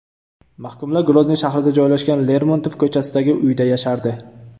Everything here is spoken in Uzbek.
Mahkumlar Grozniy shahrida joylashgan Lermontov ko‘chasidagi uyda yashardi.